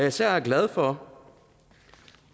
især glad for